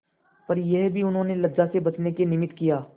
पर यह भी उन्होंने लज्जा से बचने के निमित्त किया